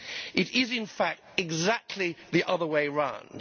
It is in fact exactly the other way round.